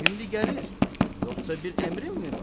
Şimdi gəlir, yoxsa bir əmrin mi var?